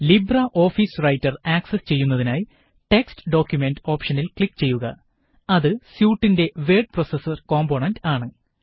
Libre office Writer access ചെയ്യുന്നതിനായി text document ഓപ്ഷനില് click ചെയ്യുക അത് സ്യൂട്ടിന്റെ വേഡ് പ്രോസസര് കോമ്പോണന്റ് ആണ്